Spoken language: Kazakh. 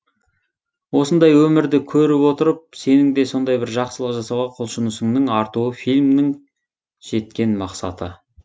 осындай өмірді көріп отырып сенің де сондай бір жақсылық жасауға құлшынысыңның артуы фильмнің жеткен мақсаты